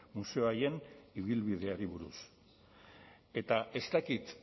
museo haien ibilbideari buruz eta ez dakit